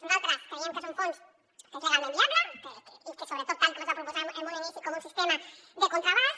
nosaltres creiem que és un fons que és legalment viable i que sobretot tal com es va proposar en un inici com un sistema de contraavals